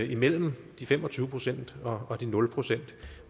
imellem de fem og tyve procent og de nul procent